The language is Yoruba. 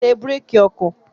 Ṣé búrékì ọkọ̀!